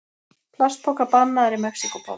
Plastpokar bannaðir í Mexíkóborg